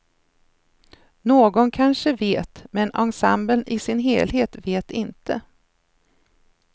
Någon kanske vet, men ensemblen i sin helhet vet inte.